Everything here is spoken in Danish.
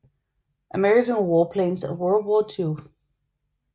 American Warplanes of World War II